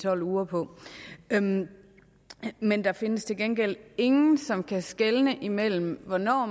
tolv uger på men men der findes til gengæld ingen som kan skelne imellem hvornår